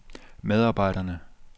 medarbejderne